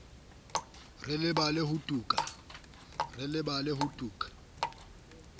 re lebale ho tu ka